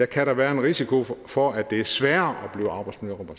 kan der være en risiko for at det er sværere